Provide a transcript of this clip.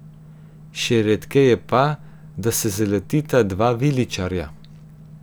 Še redkeje pa, da se zaletita dva viličarja.